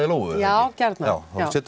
Lóu já gjarna þá höfum